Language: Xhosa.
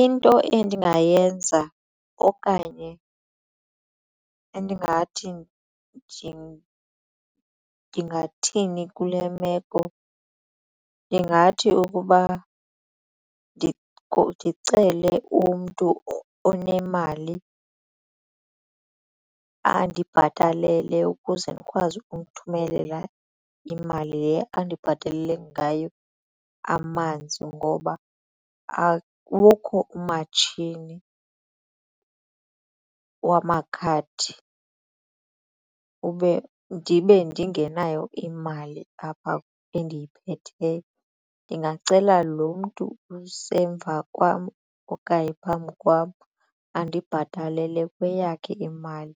Into endingayenza okanye endingathi ndingathini kule meko ndingathi ukuba ndicele umntu onemali andibhatalele ukuze ndikwazi ukumthumelela imali le andibhatalele ngayo amanzi ngoba akukho umatshini wamakhadi ndibe ndingenayo imali apha endiyiphetheyo. Ndingacela lo mntu usemva kwam okanye phambi kwam andibhatalele kweyakhe imali